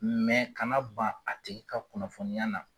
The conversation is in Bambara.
Mɛ kana ban a tigɛ ka kunnafoniya na.